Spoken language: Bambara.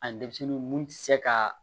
Ani denmisɛnninw mun tɛ se ka